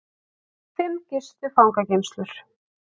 Fimm gistu fangageymslur